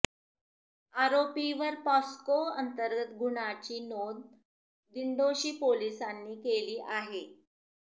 आरोपीवर POCSO अंतर्गत गुन्हाची नोंद दिंडोशी पोलिसांनी केली आहे